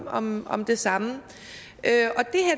om om det samme